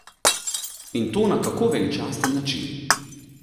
In to na kako veličasten način!